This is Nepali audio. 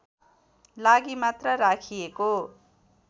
लागि मात्र राखिएको